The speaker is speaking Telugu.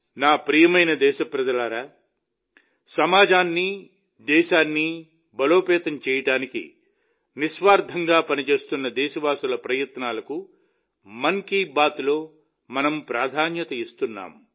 నా ప్రియమైన దేశప్రజలారా సమాజాన్ని దేశాన్ని బలోపేతం చేయడానికి నిస్వార్థంగా పనిచేస్తున్న దేశవాసుల ప్రయత్నాలకు మన్ కీ బాత్లో మనం ప్రాధాన్యత ఇస్తున్నాం